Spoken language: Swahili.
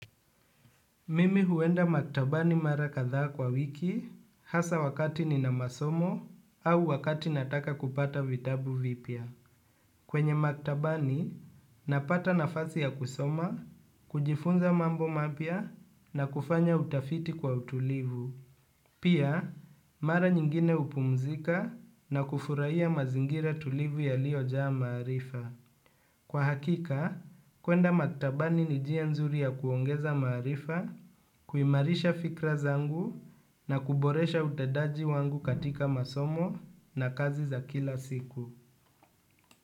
Mimi huenda maktabani mara katha kwa wiki, hasa wakati nina masomo, au wakati nataka kupata vitabu vipya. Kwenye maktabani, napata nafasi ya kusoma, kujifunza mambo mapya, na kufanya utafiti kwa utulivu. Pia, mara nyingine upumzika na kufuraia mazingira tulivu yaliojaa maarifa. Kwa hakika, kuenda maktabani ni njia nzuri ya kuongeza marifa, kuimarisha fikra zangu na kuboresha utendaji wangu katika masomo na kazi za kila siku.